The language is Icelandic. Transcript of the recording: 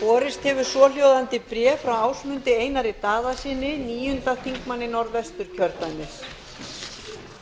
borist hefur svohljóðandi bréf frá ásmundi einari daðasyni níundi þingmaður norðvesturkjördæmis